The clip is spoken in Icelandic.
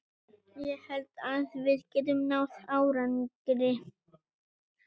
Ég held að við getum náð árangri.